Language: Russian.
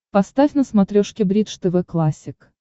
поставь на смотрешке бридж тв классик